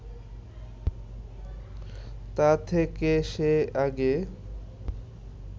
তা থেকে সে আগে